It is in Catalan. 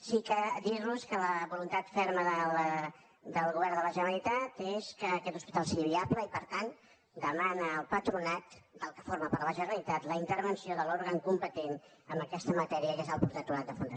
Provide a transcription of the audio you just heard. sí que dir los que la voluntat ferma del govern de la generalitat és que aquest hospital sigui viable i per tant demana el patronat del qual forma part la generalitat la intervenció de l’òrgan competent en aquesta matèria que és el protectorat de fundacions